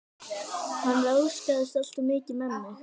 Hann ráðskaðist alltof mikið með mig.